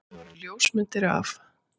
Það voru ljósmyndir af